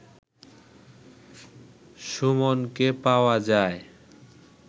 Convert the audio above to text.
সুমনকে পাওয়া যায়